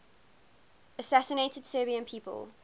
assassinated serbian people